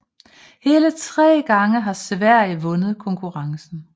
Hele tre gange har Sverige vundet konkurrence